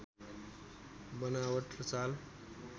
बनावट र चाल